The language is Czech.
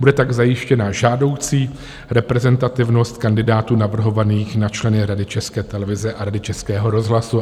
Bude tak zajištěna žádoucí reprezentativnost kandidátů navrhovaných na členy Rady České televize a Rady Českého rozhlasu.